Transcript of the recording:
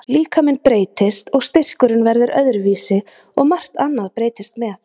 Líkaminn breytist, og styrkurinn verður öðruvísi og margt annað breytist með.